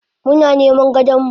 Muna niman gadonmu.